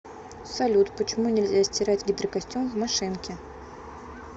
салют почему нельзя стирать гидрокостюм в машинке